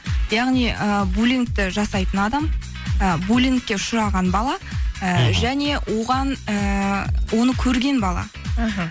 яғни ы булингті жасайтын адам ы булингке ұшыраған бала мхм і және оған ііі оны көрген бала іхі